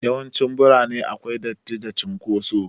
Yawancin cikin birane akwai datti da cin kotsu